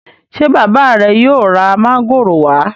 ṣe bàbá re yóò rà Mángòrò wa?